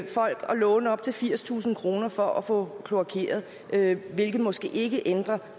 låne op til firstusind kroner for at få kloakeret hvilket måske ikke ændrer